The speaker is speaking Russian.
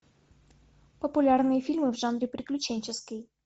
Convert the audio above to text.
популярные фильмы в жанре приключенческий